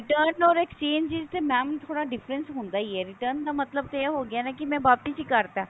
return or exchange ਵਿੱਚ ਤਾਂ mam ਥੋੜਾ difference ਹੁੰਦਾ ਹੀ ਹੈ return ਦਾ ਮਤਲਬ ਤਾਂ ਇਹ ਹੋ ਗਿਆ ਨਾ ਕਿ ਮੈਂ ਵਾਪਿਸ ਹੀ ਕਰਤਾ